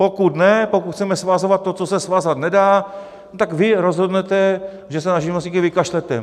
Pokud ne, pokud chceme svazovat to, co se svázat nedá, tak vy rozhodnete, že se na živnostníky vykašlete.